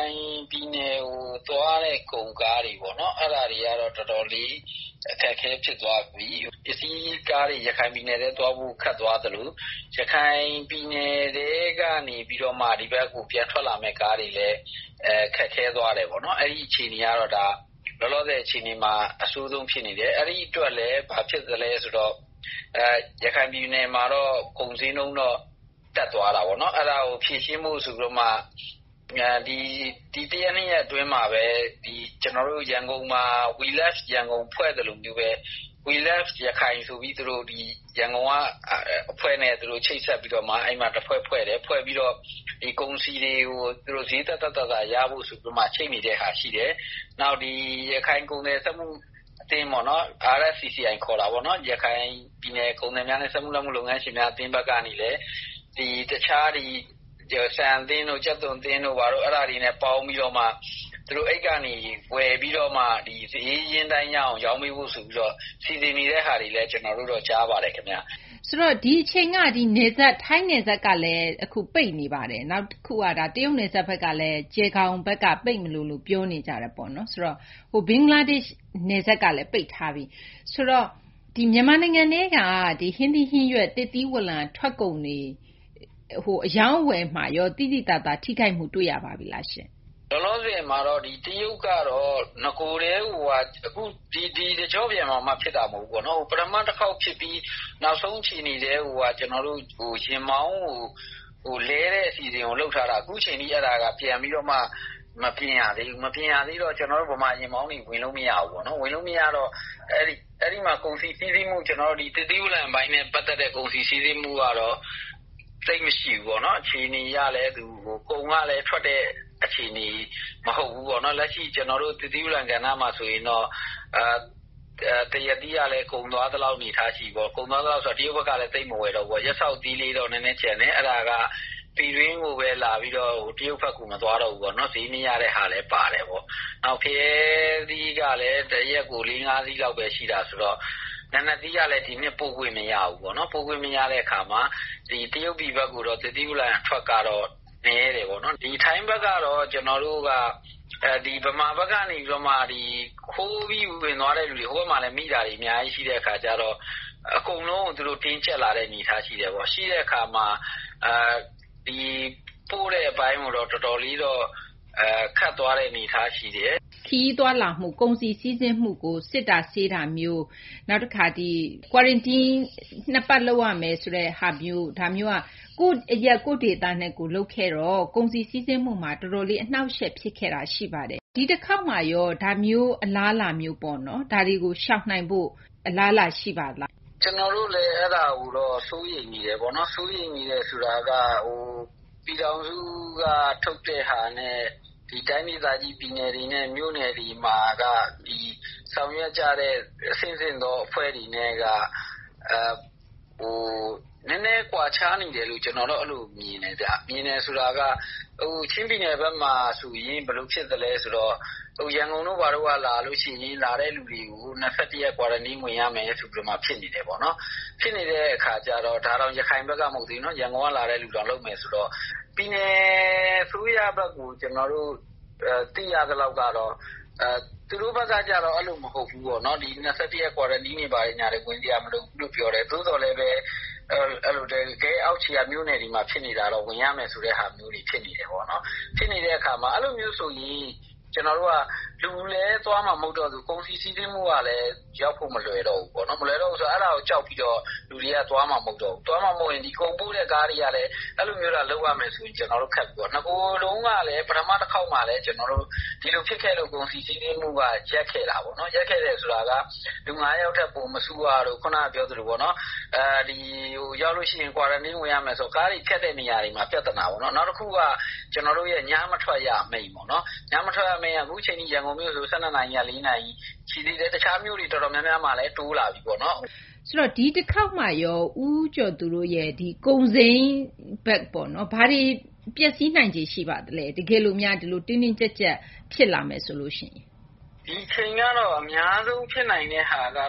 ိုင်ပြည်နယ်ကို သွားတဲ့ ကုန်ကားတွေ ပေါ့နော်။ အဲဒါတွေကတော့ တော်တော်လေး အခက်အခဲ ဖြစ်သွားပြီ။ ပစ္စည်းကားတွေ ရခိုင်ပြည်နယ်ထဲ သွားဖို့ ခက်သွားသလို ရခိုင်ပြည်နယ်ထဲက နေပြီးတော့မှ ဒီဘက်ကို ပြန်ထွက်လာမယ့် ကားတွေလည်း ခက်ခဲသွားတယ်ပေါ့နော်။ အဲဒီ အခြေအနေကတော့ လောလောဆယ် အခြေအနေမှာ အဆိုးဆုံး ဖြစ်နေတယ်။ အဲဒီ အတွက်လည်း ဘာဖြစ်သလဲ ဆိုတော့ ရခိုင် ပြည်နယ်မှာတော့ ကုန်ဈေးနှုန်းတော့ တက်သွားတာပေါ့နော်။ အဲဒါကို ဖြေရှင်းဖို့ ဆိုပြီးတော့မှာ ဒီတရက် နှစ်ရက် အတွင်းမှာဘဲ ကျနော်တို့ ရန်ကုန်မှာ We Love Yangon ဖွဲ့သလိုမျိုးဘဲ We love Rakhine ဆိုပြီး သူတို့ ဒီ ရန်ကုန်က အဖွဲ့နဲ့ ချိတ်ဆက်ပြီးတော့မှ အဲဒီမှာ တဖွဲ့ ဖွဲ့တယ်။ ဖွဲ့ပြီးတော့ ဒီ ကုန်စည်တွေကို သူတို့ ဈေးသက်သက် သာသာ ရဖို့ ဆိုပြီးမှ ချိတ်နေတဲ့ဟာ ရှိတယ်။ နောက် ဒီ ရခိုင် ကုန်သည် စက်မှု အသင်းပေါ့နော် RFCCI ခေါ်တာပေါ့။ ရခိုင်ပြည်နယ် ကုန်သည်များနဲ့ စက်မှု လက်မှု လုပ်ငန်းရှင်များ အသင်း ဘက်ကနေလည်း ဒီ တခြား ဆန် အသင်းတို့၊ ကြက်သွန် အသင်းတို့ ဘာတို့ အဲဒါတွေနဲ့ ပေါင်းပြီးတော့မှ သူတို့ အဲဒီကနေ ဝယ်ပြီးတော့မှ ဒီ ဈေးအရင်း အတိုင်းရအောင် ရောင်းပေးဖို့ ဆိုပြီး စီစဉ်နေတဲ့ ဟာတွေလည်း ကျနော်တို့တော့ ကြားပါတယ် ခင်ဗျ။ ဆိုတော့ ဒီအချိန်က ထိုင်းနယ်စပ်ကလည်း ပိတ်နေပါတယ်။ နောက်တခုက တရုတ်နယ်စပ် ဘက်ကလည်း ကျယ်ဂေါင် ဘက်က ပိတ်မလိုလို ပြောနေကြပါတယ်။ ဘင်္ဂလားဒေရှ့် နယ်စပ်ကလည်း ပိတ်ထားပြီ။ ဆိုတော့ မြန်မာနိုင်ငံထဲက ဟင်းသီး ဟင်းရွက် သစ်သီး ဝလံ ထွက်ကုန်တွေ အရောင်းအဝယ်မှာရော သိသိသာသာ ထိခိုက်မှု တွေ့ရပါပြီလားရှင့်။ လောလောဆယ်မှာတော့ တရုတ်ကတော့ နဂိုထဲကိုက ဒီ တကျော့ပြန်မှ ဖြစ်တာ မဟုတ်ဘူးပေါ့နော်။ ပထမ တခေါက် ဖြစ်ပြီး နောက်ဆုံး အခြေအနေကိုက ယာဉ်မောင်းကို လဲတဲ့ အစီအစဉ်ကို လုပ်ထားတာ။ အခုအချိန်ထိ အဲဒါက ပြန်ပြီးမှ မပြင်ရသေးဘူး။ မပြင်ရသေးတော့ ကျနောတို့ ဗမာ ယာဉ်မောင်းတွေ ဝင်လို့ မရဘူးပေါ့နော်။ ဝင်လို့ မရတော့ အဲဒီမှာ ကုန်စည် စီးဆင်းမှု - သစ်သီးဝလံပိုင်းနဲ့ ပတ်သက်တဲ့ ကုန်စည် စီးဆင်းမှုကတော့ သိပ်မရှိဘူးပေါ့နော်။ အခြေအနေ အရလည်း ကုန်ကလည်း ထွက်တဲ့ အခြေအနေ မဟုတ်ဘူး ပေါ့နော်။ လက်ရှိ ကျနော်တို့ သစ်သီးဝလံ ကဏ္ဍမှာ ဆိုရင်တော့ သရက်သီးကလည်း ကုန်သွားသလောက် အနေအထား ရှိတယ်ပေါ့နော်။ ကုန်သွား သလောက် ဆိုတာ တရုတ်ဘက်ကလည်း သိပ်မဝယ်တော့ဘူးပေါ့။ ရပ်စောက်သီး လေးတော့ နည်းနည်း ကျန်သေးတယ်။ အဲဒါက ပြည်တွင်းကိုဘဲ လာပြီးတော့ တရုတ်ဘက်ကို မသွားတော့ဘူး။ ဈေးမရတဲ့ဟာလည်း ပါတယ်ပေါ့။ ဖရဲသီးကလည်း တရက်ကို ၄-၅ စီးလောက်ဘဲ ရှိတာ။ နာနတ်သီးကလည်း ဒီနှစ် ပို့ခွင့် မရဘူး။ ပို့ခွင့်မရတော့ တရုတ်ပြည် ဘက်တော့ သစ်သီးဝလံ အထွက်ကတော့ နည်းတယ်ပေါ့နော်။ ထိုင်းဘက်ကတော့ ကျနော်တို့က ဒီ ဗမာဘက်က နေပြီးတော့မှ ခိုးပြီး ဝင်သွားတဲ့သူတွေ ဟိုဘက်မှာလည်း မိတာတွေ အများကြီး ရှိတဲ့ အခါကျတော့ အကုန်လုံးကို သူတို့ တင်းကြပ်လာတဲ့ အနေအထား ရှိတယ်။ ရှိတဲ့ အခါမှာ ဒီ ပို့တဲ့ အပိုင်းမှာတော့ တော်တော်လေး ခက်သွားတဲ့ အနေအထား ရှိတယ်။ ခရီးသွားလာမှု ကုန်စည် စီးဆင်းမှုကို စစ်ဆေးတာမျိုး၊ နောက်တခါ ကွာရင်တီးန်း ၂ ပတ် လုပ်ရမယ် ဆိုတာမျိုးမှာ ကိုယ့်အရပ် ကိုယ့်ဒေသနဲ့ ကိုယ် လုပ်ခဲ့တော့ ကုန်စည် စီးဆင်းမှုမှာ တော်တော်လေး အနှောင့်အယှက် ဖြစ်ခဲ့တာ ရှိတော့ ဒီတခေါက်မှာရော ဒါမျိုး အလားအလာ မျိုးပေါ့နော်။ ဒါတွေကို ရှောင်နိုင်ဖို့ အလားအလာ ရှိပါလား။ ကျနော်တို့လည်း အဲဒါကိုတော့ စိုးရိမ်မိတယ်ပေါ့နော်။ စိုးရိမ်နေတယ် ဆိုတာက ဟို ပြည်ထောင်စုက ထုတ်တဲ့ဟာနဲ့ ဒီ တိုင်းဒေသကြီး ပြည်နယ်တွေနဲ့ မြို့နယ်တွေမှာက ဆောင်ရွက်ကြတဲ့ အဆင့်ဆင့်သော အဖွဲ့တွေနဲ့က နည်းနည်းကွာခြားနေတယ်လို့ ကျနော်တော့ အဲလို မြင်တယ်ဗျ။ ချင်းပြည်နယ်ဘက်မှာ ဆိုရင် ဘယ်လို ဖြစ်သလဲ ဆိုတော့ ရန်ကုန်တို့ ဘာတို့က လာတဲ့ သူတွေကို ၂၁ ရက် ကွာရင်တီန်း ဝင်ရမယ် ဆိုပြီးမှ ဖြစ်နေတယ်ပေါ့နော်။ ဖြစ်နေတဲ့ အခါကျတော့ ဒါတောင် ရခိုင်ဘက်က မဟုတ်ဘူး။ ရန်ကုန်ဘက်က လာတဲ့သူတောင် လုပ်မယ် ဆိုတော့ ပြည်နယ် အစိုးရဘက်ကို ကျနော်တို့သိရသလောက်ကတော့ သူတို့ဘက်က ကျတော့ အဲလိုမဟုတ်ဘူးပေါ့နော်။ ဒီ ၂၁ ရက် ကွာရင်တီန်း ဝင်စရာ မလိုဘူးလို့ ပြောတယ်။ သို့သော်လည်းဘဲ တကယ့် အောက်ခြေက မြို့နယ်တွေမှာ ဖြစ်နေတာတော့ ဝင်ရမယ် ဆိုတဲ့ဟာမျိုးတွေ ဖြစ်နေတယ်ပေါ့နော်။ ဖြစ်နေတဲ့ အခါမှာ အဲလိုမျိုး ဆိုရင် ကျနော်တို့က လူလည်း သွားမှာ မဟုတ်တော့သလို ကုန်စည် စီးဆင်းမှုကလည်း ရောက်ဖို့ မလွယ်တော့ဘူး။ အဲဒါကို ကြောက်ပြီးတော့ လူတွေက သွားမှာ မဟုတ်တော့ဘူး။ သွားမှာ မဟုတ်ရင် ဒီ ကုန်ပို့တဲ့ ကားတွေကလည်း အဲလိုမျိုးသာ လုပ်ရမယ်ဆိုရင် ခက်ပြီပေါ့။ နဂိုတုန်းကလည်း ပထမ တခေါက်မှာတုန်းကလည်း ကျနော်တို့ ဒီလို ဖြစ်ခဲ့လို့ ဂေါ်ဖီ တို့ ရပ်ခဲ့တာပေါ့နော်။ လူ ၅ ယောက်ထက် ပိုမစုရတို့၊ ရောက်လု့ိ ရှိရင် ကွာရင်တီန်း ဝင်ရမယ်တို့ ကားတွေ ဖြတ်တဲ့ နေရာမှာ ပြသနာ ပေါ့နော်။ နောက်တခုက ကျနော်တို့ရဲ့ ညမထွက်ရ အမိန့်ပေါ့။ အခုအချိန်ထိ ရန်ကုန်မြို့ ဆိုရင် ၁၂ နာရီ ကနေ မနက် ၄ နာရီ ရှိတယ်။ တခြားမြို့တွေ တော်တော်များများမှာလည်း တိုးလာပြီပေါ့နော်။ ဒီတခေါက်မှာရော ဦးကျော်သူတို့ ကုန်စိမ်းဘက်ပေါ့နော်။ ဘာတွေ ပျက်စီးနိုင်ခြေ ရှိပါသလဲ။ တကယ်လို့များ တင်းတင်းကျပ်ကျပ် ဖြစ်လာမယ် ဆိုလို့ ရှိရင်။ ဒီအချိန်ကတော့ အများဆုံး ဖြစ်နိုင်တဲ့ဟာက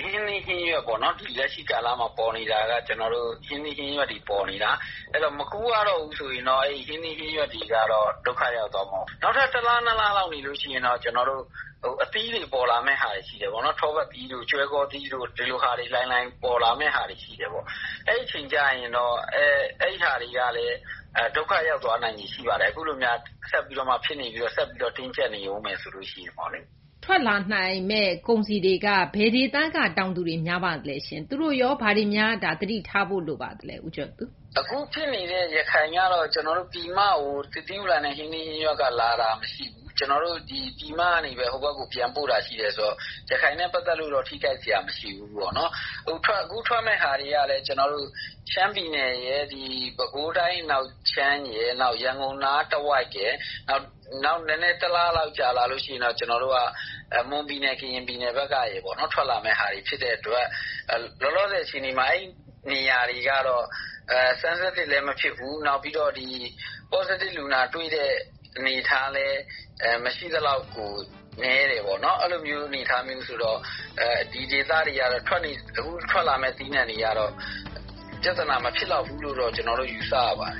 ဟင်းသီး ဟင်းရွက်ပေါ့နော်။ အခု လက်ရှိ ကာလမှာ ပေါ်နေတာက ဟင်းသီး ဟင်းရွက်တွေ ပေါ်နေတာ။ မခူးရတော့ဘူး ဆိုရင်တော့ ဟင်းသီး ဟင်းရွက်တွေက ဒုက္ခ ရောက်သွားမှာပေါ့။ နောက်ထပ် တလ ၂ လလောက် နေလို့ ရှိရင်တော့ ကျနော်တို့ အသီးတွေ ပေါ်လာမယ့် ဟာတွေ ရှိတယ်ပေါ့။ ထောပတ်သီးတို့ ကျွဲကောသီးတို့ ဒီလို လှိုင်လှိုင် ပေါ်လာမယ့်ဟာတွေ ရှိတယ်။ အဲဒီ အချိန်ကျရင်တော့ အဲဒီဟာတွေကလည်း ဒုက္ခရောက်သွား နိုင်ခြေ ရှိပါတယ်။ အခုလိုများ ဆက်ပြီး ဖြစ်နေပြီး ဆက်ပြီး တင်းကျပ်နေဦးမယ် ဆိုလို့ ရှိရင်ပေါ့လေ။ ထွက်လာမယ့် ကုန်စည်တွေက ဘယ်ဒေသက တောင်သူတွေ များပါသလဲ။ သူတို့ရော ဘာတွေများ သတိထားဖို့ လိုပါသလဲ။ အခု ဖြစ်နေတဲ့ ရခိုင်ကတော့ ကျနော်တို့ ပြည်မကို သစ်သီး ဝလံနဲ့ ဟင်းသီး ဟင်းရွက်က လာတာ မရှိဘူး။ ကျနော်တို့ ပြည်မကနေဘဲ ဟိုဘက်ကို ပြန်ပို့တာ ရှိတယ်ဆိုတော့ ရခိုင်နဲ့ ပတ်သက်လု့ိတော့ ထိခိုက်စရာ မရှိဘူးပေါ့နော်။ အခု ထွက်မယ့်ဟာတွေကလည်း ကျနော်တို့ ရှမ်းပြည်နယ်နဲ့ ပဲခူးတိုင်း အနောက်ခြမ်းရယ် နောက် ရန်ကုန်နား တဝိုက်ရယ်။ နောက် တလလောက် ကြာလာရင်တော့ ကျနော်တို့က မွန်ပြည်နယ် ကရင်ပြည်နယ် ဘက်ကရယ်ပေါ့နော် ထွက်လာမယ့်ဟာတွေ ဖြစ်တဲ့ အတွက် လောလောဆယ် အချိန်မှာ အဲဒီ နေရာတွေကတော့ Sensitive လည်း မဖြစ်ဘူး Positive ဖြစ်တဲ့ အနေအထားလည်း မရှိသလောက်ကို နည်းတယ်ပေါ့နော်။ အဲလိုမျိုး အနေအထား ဆိုတော့ ဒီဒေသတွေကတော့ အခု ထွက်လာမယ့် သီးနှံတွေကတော့ ပြဿနာ မဖြစ်လောက်ဘူးလို့ ကျနော်တို့ ယူဆရပါတယ်